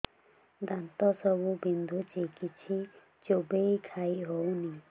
ଦାନ୍ତ ସବୁ ବିନ୍ଧୁଛି କିଛି ଚୋବେଇ ଖାଇ ହଉନି